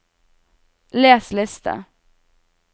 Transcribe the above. les liste